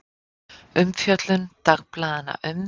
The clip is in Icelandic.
Umfjöllun dagblaðanna um